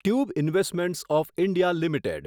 tube investments of India limited